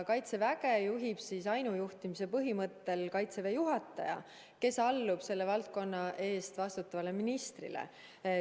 Kaitseväge juhib ainujuhtimise põhimõttel Kaitseväe juhataja, kes allub selle valdkonna eest vastutavale ministrile.